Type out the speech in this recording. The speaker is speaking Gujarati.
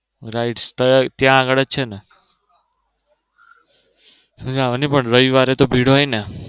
rides તો ત્યાં આગળ જ છે ને મજા આવે પણ રવિવારે તો ભીડ તો હોય ને.